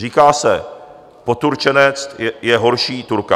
Říká se, poturčenec je horší Turka.